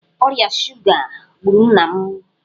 Ọrịa shuga gburu nna m.